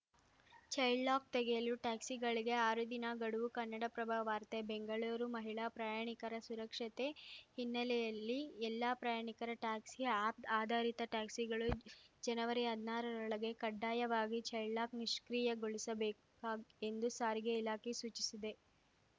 child lock ತೆಗೆಯಲು ಟ್ಯಾಕ್ಸಿಗಳಿಗೆ ಆರು ದಿನ ಗಡುವು ಕನ್ನಡಪ್ರಭ ವಾರ್ತೆ ಬೆಂಗಳೂರು ಮಹಿಳಾ ಪ್ರಯಾಣಿಕರ ಸುರಕ್ಷತೆ ಹಿನ್ನೆಲೆಯಲ್ಲಿ ಎಲ್ಲ ಪ್ರಯಾಣಿಕರ ಟ್ಯಾಕ್ಸಿ ಆ್ಯಪ್‌ ಆಧಾರಿತ ಟ್ಯಾಕ್ಸಿಗಳು ಜನವರಿಹದ್ನಾರರೊಳಗೆ ಕಡ್ಡಾಯವಾಗಿ ಚೈಲ್ಡ್‌ಲಾಕ್‌ ನಿಷ್ಕ್ರಿಯೆಗೊಳಿಸಬೇಕುಕಾಗ್ ಎಂದು ಸಾರಿಗೆ ಇಲಾಖೆ ಸೂಚಿಸಿದೆ